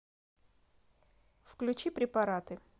включи препараты